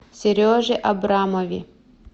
сереже абрамове